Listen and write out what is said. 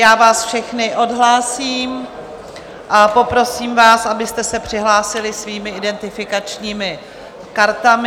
Já vás všechny odhlásím a poprosím vás, abyste se přihlásili svými identifikačními kartami.